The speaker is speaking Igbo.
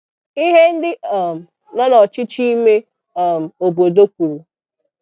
Ihe ndị um nọ n'ọchịchị ime um obodo kwuru.